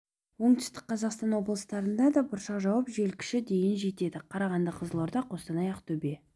оңтүстік қазақстан облыстарында да бұршақ жауып жел күші дейін жетеді қарағанды қызылорда қостанай ақтөбе